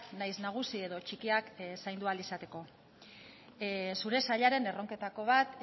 nahiz nagusi edo txikiak zaindu ahal izateko zure sailaren erronketako bat